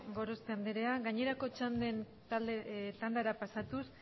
gorospe andrea gainerakoen txanden tandara pasatuz